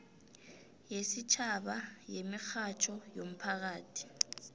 yesitjhaba yemirhatjho yomphakathi